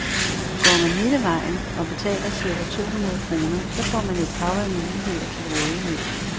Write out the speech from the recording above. Går man hele vejen og betaler cirka to hundrede kroner, så får man et hav af muligheder til rådighed.